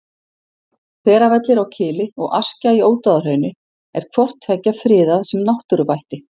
Hveravellir á Kili og Askja í Ódáðahrauni er hvort tveggja friðað sem náttúruvætti.